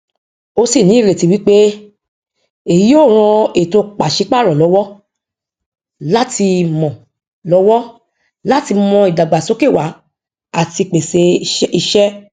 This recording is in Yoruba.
ó sì ní ìrètí wípé èyí yóò ran ètò pàṣẹ párọ lọwọ láti mọ lọwọ láti mọ ìdàgbàsókè wá àti pèsè ìṣe